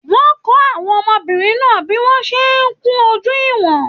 Wọn kọ àwọn ọmọbìnrin náà bí wọn ṣe n kún ojú wọn.